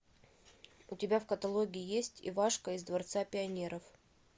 у тебя в каталоге есть ивашка из дворца пионеров